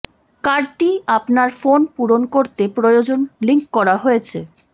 কার্ডটি আপনার ফোন পূরণ করতে প্রয়োজন লিঙ্ক করা হয়েছে